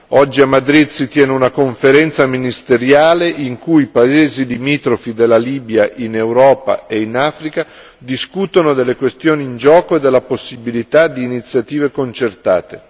Oggi a Madrid si tiene una conferenza ministeriale in cui i paesi limitrofi della Libia in Europa e in Africa discutono delle questioni in gioco e della possibilità di iniziative concertate.